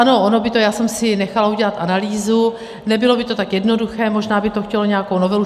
Ano, ono by to - já jsem si nechala udělat analýzu - nebylo by to tak jednoduché, možná by to chtělo nějakou novelu.